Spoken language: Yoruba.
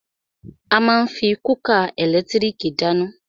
A má ń fí kúkà ẹ̀lẹ́tírìkì dáná.